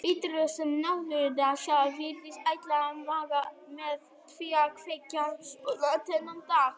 Birtuna sem náttúran sjálf virtist ætla að magna með því að kveikja svona þennan dag.